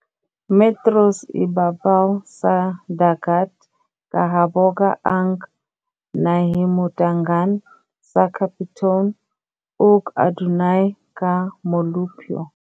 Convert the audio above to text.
metros ibabaw sa dagat kahaboga ang nahimutangan sa Capitone, ug adunay ka molupyo.